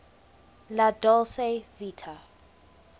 la dolce vita